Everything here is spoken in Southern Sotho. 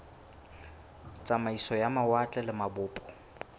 tsamaiso ya mawatle le mabopo